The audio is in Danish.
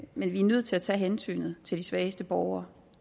men vi er nødt til at tage hensynet til de svageste borgere